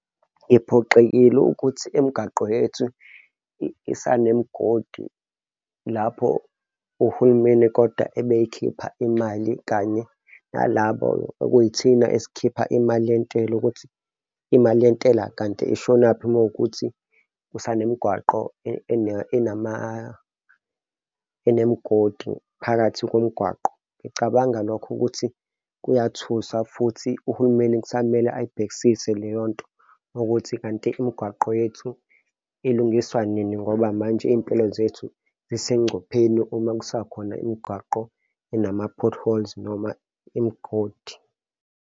Ngiphoxekile ukuthi imgaqo yethu isanemigodi lapho uhulumeni kodwa ebe eyikhipha imali kanye nalabo okuyithina esikhipha imali yentela ukuthi imali yentela kanti ishonaphi mawukuthi kusanemgwaqo enemigodi phakathi komgwaqo. Ngicabanga lokho ukuthi kuyathusa, futhi uhulumeni kusamele ayibhekisise leyo nto, ukuthi kanti imigwaqo yethu ilungiswa nini ngoba manje iy'mpilo zethu zisengcupheni uma kusakhona imigwaqo enama-potholes noma imigodi.